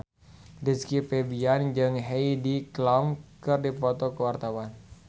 Rizky Febian jeung Heidi Klum keur dipoto ku wartawan